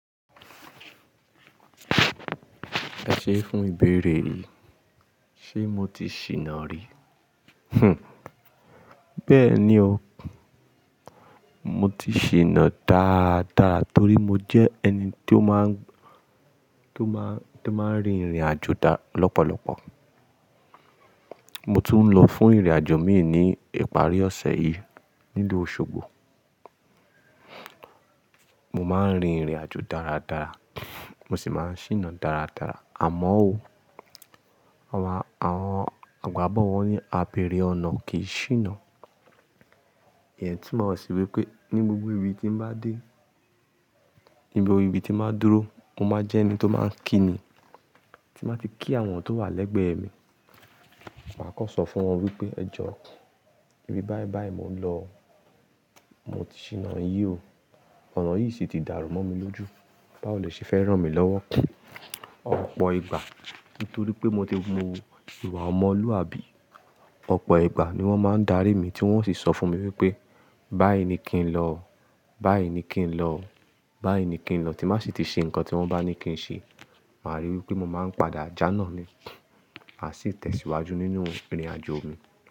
Ẹ ṣe fún ìbéèrè mi, ṣe mo ti ṣìnà rí? Hmm. Bẹ́ẹ̀ ni o, mo ti ṣìnà dáa dáa torí mo jẹ́ ẹni tó máa ń, tó máa ń, tó máa ń rin ìrìnàjò dára lọ́pọ̀lọpọ̀. Mo tún ń lọ fún ìrìnàjò míì ní ìparí ọ̀sẹ̀ yìí nínú Òṣogbo. Mo máa ń rin ìrìnàjò dára dára, mo sì máa ń ṣìnà dára dára. Àmọ́ òó, àwọn, àwọn àgbà wọ́n á bèèrè "ọnà kìí ṣìnà". Èyí tí màá ṣe wípé ní gbogbo ibi tí mo bá dé, ibi orí ibi tí màá dúró, mo máa jẹ́ ẹni tó máa ń kíni, tí màá ti kí àwọn tó wà lẹ́gbẹ̀ẹ́ mi. Màá kọ̀ sọ fún wọn wípé, "ẹ jọ, ibi báí báí mo ń lọ, mo ti ṣìnà yìí o, ọ̀nà yìí sì ti dàrú mọ́ mi lójú. Bá ò le ṣe fẹ́ rán mi lọ́wọ́ ọ̀pọ̀ ìgbà." Nítorí pé mo ti wo ìwà ọmọlúàbí. Ọ̀pọ̀ ìgbà ni wọ́n máa ń darí mi tí wọ́n ó sì sọ fún mi wípé báyì ni kí n lọ, báyì ni kí n lọ, báyi ni kí n lọ tí màá sì ti ṣe nǹkan tí wọ́n bá ní kí n ṣe. Màá rí wípé mo máa ń padà jàná ni, a sì tẹ̀síwájú nínú ìrìnàjò mi.